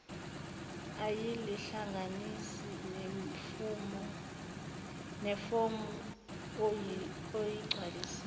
uyalihlanganisa nefomu oyigcwalisile